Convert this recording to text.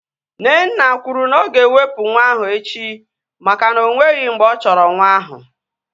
Nnenna kwuru na oga ewepu nwa ahu echi maka na onweghi mgbe ọ chọrọ nwa ahu